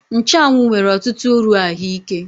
Nchụ́anwu nwere ọtụtụ uru ahụike